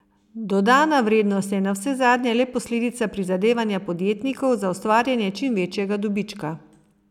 Dodana vrednost je navsezadnje le posledica prizadevanja podjetnikov za ustvarjanje čim večjega dobička.